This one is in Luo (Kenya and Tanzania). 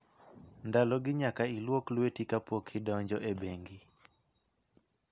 Ndalogi nyaka ilwok lweti kapok idonjo e bengi.